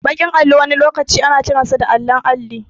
Baki allo wani lokaci ana kiransa allon alli